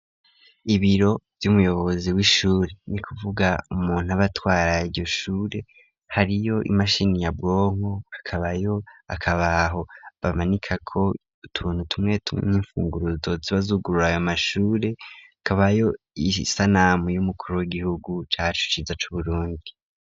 Ibiro vy'umuyobozi wishure nukuvuga umuntu aba atwara iryo Shure, hariyo imashini nyabwonko hakabayo akabaho bamanikako utuntu tumwe tumwe nkifunguruzo ziba zugurura ayo mashure. Hakaba isanamu wigihugu cacu ciza cu Burundi.